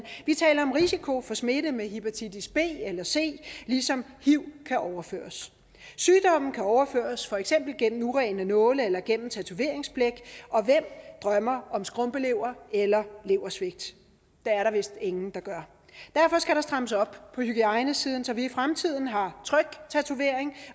vi taler om risiko for smitte med hepatitis b eller c ligesom hiv kan overføres sygdomme kan overføres for eksempel gennem urene nåle eller gennem tatoveringsblæk og hvem drømmer om skrumpelever eller leversvigt det er der vist ingen der gør derfor skal der strammes op på hygiejnesiden så vi i fremtiden har tryg tatovering